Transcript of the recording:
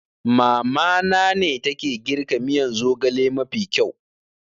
Mamana ne take girka miyan zogale mafi kyau